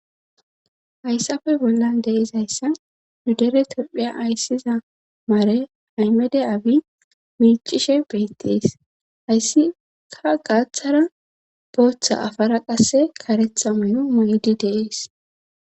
hayssafe bollan deizayssa mudere topphiya ayssiza maare aymede abi miicishe beettees hayssi ka gaaththara booththa afara qasse karetha may7o may7di deees